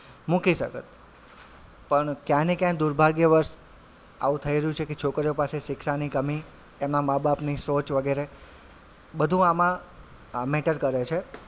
મૂકી શકત પણ ક્યાંય ને ક્યાય દુર્ભાગ્યવશ આવું થઇ રહ્યું છે કે છોકરીઓ પાસે શિક્ષાની કમી એમાં માં -બાપ ની સોચ વગેરે બધું આમાં અ matter કરે છે.